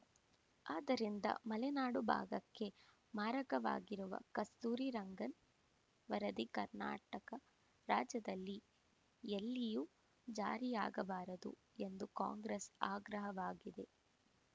ಆದ್ದರಿಂದ ಮಲೆನಾಡು ಭಾಗಕ್ಕೆ ಮಾರಕವಾಗಿರುವ ಕಸ್ತೂರಿ ರಂಗನ್‌ ವರದಿ ಕರ್ನಾಟಕ ರಾಜ್ಯದಲ್ಲಿ ಎಲ್ಲಿಯೂ ಜಾರಿಯಾಗಬಾರದು ಎಂದು ಕಾಂಗ್ರೆಸ್‌ ಆಗ್ರಹವಾಗಿದೆ